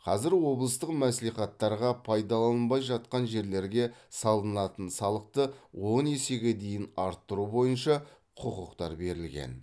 қазір облыстық мәслихаттарға пайдаланылмай жатқан жерлерге салынатын салықты он есеге дейін арттыру бойынша құқықтар берілген